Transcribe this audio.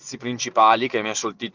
сцепление палится мешалки